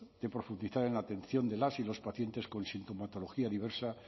de profundizar en la atención de las y los pacientes con sintomatología diversa